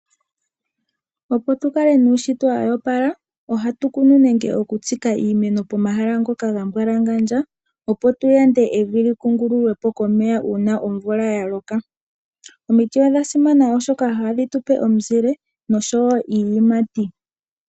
Opo tu kale nuushitwe wo opala, ohatu kunu nenge okutsika iimeno pomahala ngoka ga mbwalangandja, opo tu yande evi li kungululwe po komeya uuna omvula ya loka. Omiti odha simana, oshoka ohadhi tu pe omuzile nosho wo iiyimati.